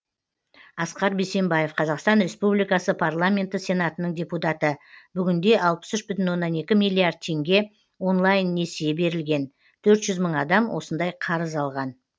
асқар бейсенбаев қазақстан республикасы парламенті сенатының депутаты бүгінде алпыс үш бүтін оннан екі миллиард теңге онлайн несие берілген төрт жүз мың адам осындай қарыз алған